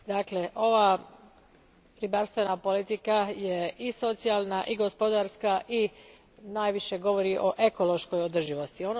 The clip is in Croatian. Dakle, ova ribarstvena politika je i socijalna i gospodarska i najviše govori o ekološkoj održivosti.